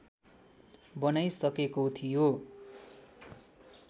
बनाइसकेको थियो